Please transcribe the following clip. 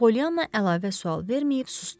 Polyanna əlavə sual verməyib susdu.